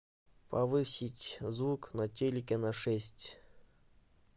повысить звук на телике на шесть